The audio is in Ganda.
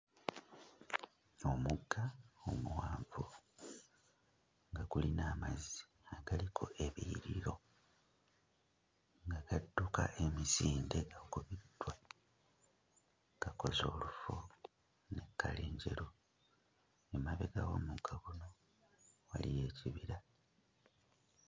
Omugga omuwanvu nga gulina amazzi agaliko ebiyiriro agadduka emisinde kubiddwa gakoze olufu ne kkala enjeru, emabega w'omugga guno waliyo ekibira.